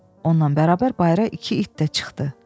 Onunla bərabər bayıra iki it də çıxdı.